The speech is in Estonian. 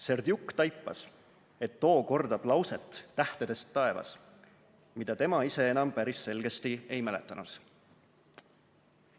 Serdjuk taipas, et too kordab lauset tähtedest taevas, mida tema ise enam päris selgesti ei mäletanud.